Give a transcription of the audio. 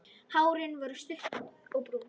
Hárin er stutt og brún.